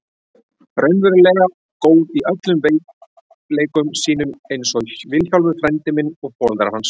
Raunverulega góð í öllum veikleikum sínum einsog Vilhjálmur frændi minn og foreldrar hans.